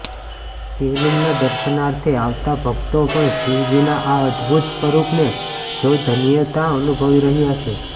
શિવલિંગના દર્શનાર્થે આવતા ભક્તો પણ શિવજીના આ અદભુત સ્વરૂપને જોઈ ધન્યતા અનુભવી રહયા છે